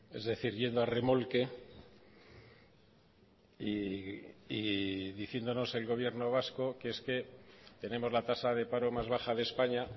es decir yendo a remolque y diciéndonos el gobierno vasco que es que tenemos la tasa de paro más baja de españa